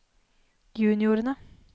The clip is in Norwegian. juniorene